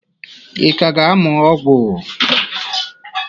Ị ka ga-amụ ọgwụ?